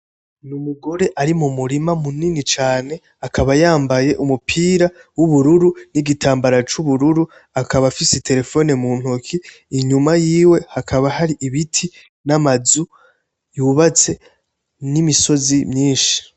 N'umugore ari mumurima munini cane, akaba yambaye umupira wubururu, nigitambara cubururu akaba afise telefone mu ntoke. Inyuma yiwe hakaba hari ibiti, namazu yubatse, nimisozi myinshi.